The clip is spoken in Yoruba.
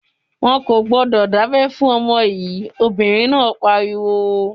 "Wọn kò gbọdọ̀ dábẹ fún ọmọ yìí!" Obìnrin náà pariwo.